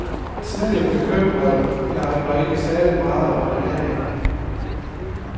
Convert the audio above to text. Tidligere bekymrede jeg mig ikke særlig meget om ernæring.